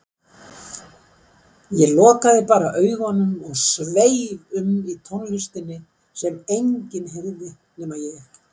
Ég lokaði bara augunum og sveif um í tónlistinni sem enginn heyrði nema ég.